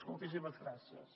moltíssimes gràcies